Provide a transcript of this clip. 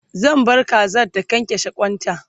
zan bar Kazan ta kyankyashe kwanta